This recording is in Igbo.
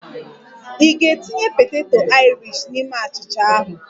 Ị ga-etinye poteto Aịrishi n'ime achịcha anụ?